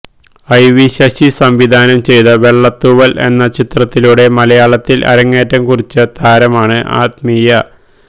IV Sasi സംവിധാനം ചെയ്ത വെളളത്തൂവല് എന്ന ചിത്രത്തിലൂടെ മലയാളത്തില് അരങ്ങേറ്റം കുറിച്ച താരമാണ് ആത്മീയ